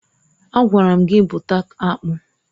Agwara m gị bụta akpụ!